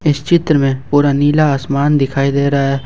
इस चित्र में पूरा नीला आसमान दिखाई दे रहा है ।